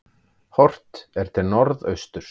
Horft er til norðausturs.